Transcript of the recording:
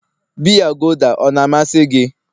biya gulder ọ na-amasị gị?